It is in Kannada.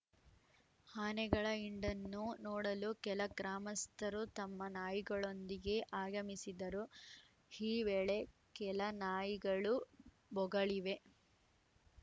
ಆನೆಗಳ ಹಿಂಡನ್ನು ನೋಡಲು ಕೆಲ ಗ್ರಾಮಸ್ಥರು ತಮ್ಮ ನಾಯಿಗಳೊಂದಿಗೆ ಆಗಮಿಸಿದ್ದರು ಹೀ ವೇಳೆ ಕೆಲ ನಾಯಿಗಳು ಬೊಗಳಿವೆ